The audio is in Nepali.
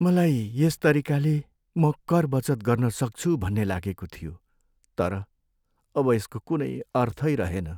मलाई यस तरिकाले म कर बचत गर्न सक्छु भन्ने लागेको थियो, तर अब यसको कुनै अर्थै रहेन।